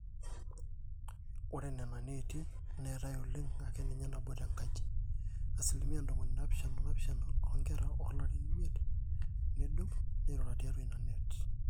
ore nena neeti neetai oleng akeninye nabo tenkaji, asilimia ntomoni naapishana oopishana oonkera oolarin imiet nedou neirura tiatwa ina net